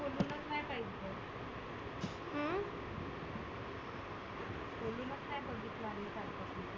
खोलुनच नाही बघितला आम्ही काल पासुन.